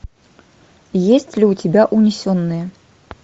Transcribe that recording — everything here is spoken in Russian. есть ли у тебя унесенные